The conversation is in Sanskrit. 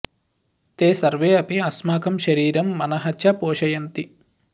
ते सर्वे अपि अस्माकं शरीरं मनः च पोषयन्ति